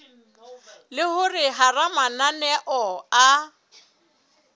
le hore hara mananeo a